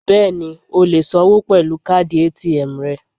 Bẹ́ẹ̀ni, o lè sanwó pẹ̀lú káàdì ATM rẹ.